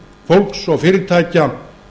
fólks og fyrirtækja